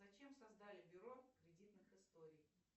зачем создали бюро кредитных историй